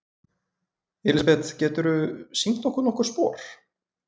Elísabet: Geturðu sýnt okkur nokkur spor?